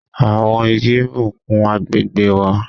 Àwọn Igi n bùkún agbègbè wà